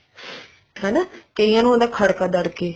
ਹਾਂ ਕਈਆਂ ਨੂੰ ਹੁੰਦਾ ਖੜਕਾ ਦੜਕਾ